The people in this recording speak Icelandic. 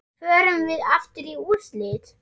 Förum við aftur í úrslit?